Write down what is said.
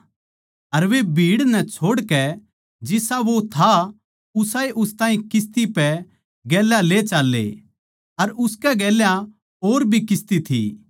अर वे भीड़ नै छोड़कै जिसा वो था उसाए उस ताहीं किस्ती पै गेल्या ले चाल्ले अर उसकै गेल्या और भी किस्ती थी